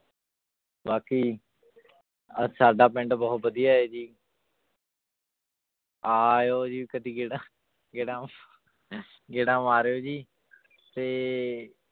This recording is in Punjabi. ਬਾਕੀ ਅਹ ਸਾਡਾ ਪਿੰਡ ਬਹੁਤ ਵਧੀਆ ਹੈ ਜੀ ਆਇਓ ਜੀ ਕਦੇ ਗੇੜਾ ਗੇੜਾ ਗੇੜਾ ਮਾਰਿਓ ਜੀ ਤੇ